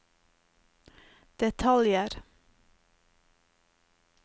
detaljer